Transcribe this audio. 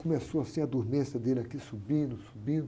Começou assim a dormência dele aqui, subindo, subindo.